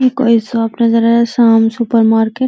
ई कोई शॉप नजर आ रा शाम सुपर मार्केट --